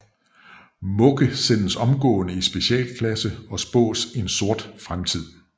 Mugge sendes omgående i specialklasse og spås en sort fremtid